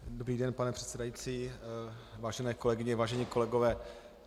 Dobrý den, pane předsedající, vážené kolegyně, vážení kolegové.